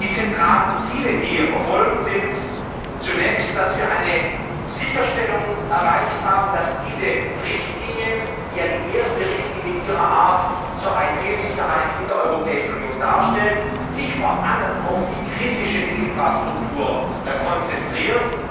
Die zentralen Ziele, die wir verfolgen, sind Zunächst, dass wir eine Sicherstellung erreicht haben, dass sich diese Richtlinie, die ja die erste Richtlinie ihrer Art zur IT Sicherheit in der Europäischen Union darstellt, vor allem auf die kritische Infrastruktur konzentriert.